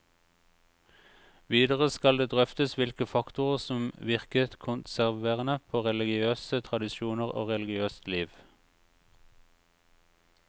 Videre skal det drøftes hvilke faktorer som virket konserverende på religiøse tradisjoner og religiøst liv.